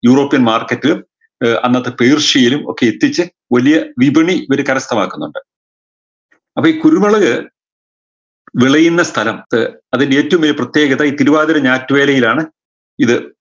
europian market ലും ഏർ അന്നത്തെ പേർഷ്യയിലും ഒക്കെ എത്തിച്ച് വലിയ വിപണി ഇവര് കരസ്ഥമാക്കുന്നുണ്ട് അപ്പൊ ഈ കുരുമുളക് വിളയുന്ന സ്ഥലംത്ത് അതിൻറെ ഏറ്റവും വലിയ പ്രത്യേകത ഈ തിരുവാതിര ഞാറ്റുവേലയിലാണ് ഇത്